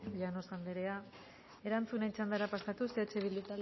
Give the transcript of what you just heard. llanos andrea erantzunen txandara pasatuz eh bildu